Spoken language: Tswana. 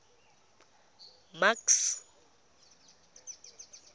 max